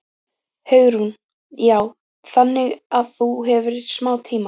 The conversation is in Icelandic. Hugrún: Já, þannig að þú hefur smá tíma?